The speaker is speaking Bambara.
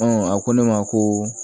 a ko ne ma ko